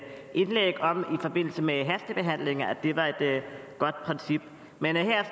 indlæg om i forbindelse med hastebehandling var et godt princip men her